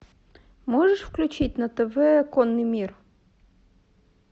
можешь включить на тв конный мир